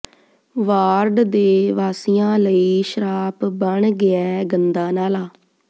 ward ਦੇ ਵਾਸੀਆਂ ਲਈ ਸਰਾਪ ਬਣ ਗਿਐ ਗੰਦਾ ਨਾਲਾ